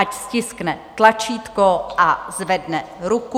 Ať stiskne tlačítko a zvedne ruku.